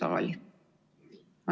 Tundub, et teile küsimusi ei ole.